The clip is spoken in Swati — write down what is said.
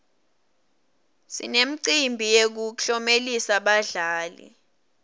sinemicimbi yekuklomelisa badlali